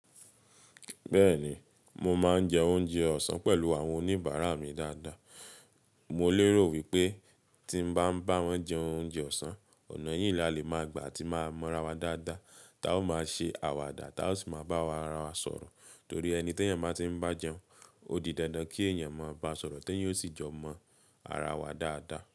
Bẹ́ẹ̀ni, mo máa ń jẹ oúnjẹ ọ̀sán pẹ̀lú àwọn oníbàárà mi dáadáa. Mo lérò wípé tí n bá ń bá wọn jẹ oúnjẹ ọ̀sán, ọ̀nà yìí la lè máa gbà tí máa mọ ara wa dáadáa. Tá ó máa ṣe àwàdà tá o ṣì máa bá ará wá sọ̀rọ̀. Torí ẹni tí èèyàn bá tí ń bá jẹun, ó di dandan kí èèyàn máa bá sọ̀rọ̀, tí èèyàn o ṣì jọ mọ ara wa dáadáa.